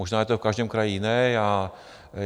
Možná je to v každém kraji jiné.